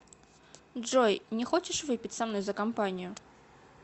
джой не хочешь выпить со мной за компанию